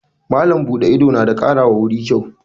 Malam buɗe ido na kara wa guri kyau.